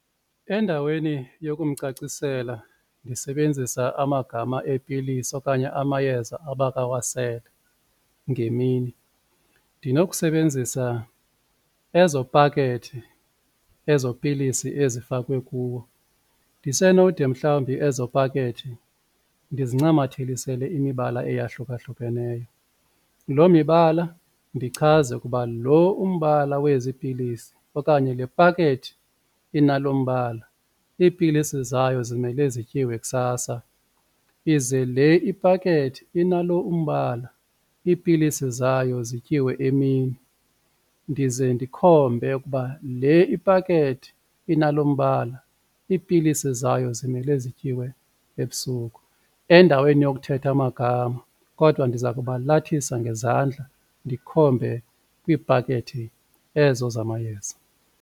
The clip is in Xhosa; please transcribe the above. Endaweni yokumcacisela ndisebenzisa amagama eepilisi okanye amayeza abakawasele ngemini ndinokusebenzisa ezo pakethi ezo pilisi ezifakwe kuwo. Ndisenode mhlawumbi ezo pakethi ndizincamathisele imibala eyahlukahlukeneyo, loo mibala ndichaze ukuba lo umbala wezi pilisi okanye le pakethi inalo mbala iipilisi zayo zimele zityiwe kusasa. Ize le ipakethi inalo umbala iipilisi zayo zityiwe emini ndize ndikhombe ukuba le ipakethi inalo mbala iipilisi zayo zimele zityiwe ebusuku. Endaweni yokuthetha amagama kodwa ndiza kubalathisa ngezandla ndikhombe kwiipakethi ezo zamayeza